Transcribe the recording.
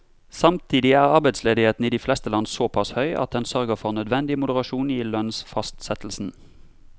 Samtidig er arbeidsledigheten i de fleste land såpass høy at den sørger for nødvendig moderasjon i lønnsfastsettelsen.